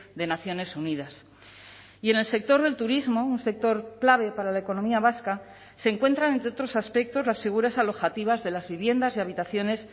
de naciones unidas y en el sector del turismo un sector clave para la economía vasca se encuentran entre otros aspectos las figuras alojativas de las viviendas y habitaciones